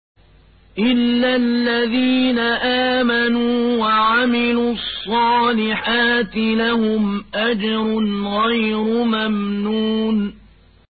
إِلَّا الَّذِينَ آمَنُوا وَعَمِلُوا الصَّالِحَاتِ لَهُمْ أَجْرٌ غَيْرُ مَمْنُونٍ